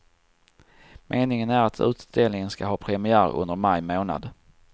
Meningen är att utställningen ska ha premiär under maj månad.